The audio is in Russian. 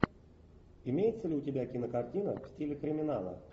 имеется ли у тебя кинокартина в стиле криминала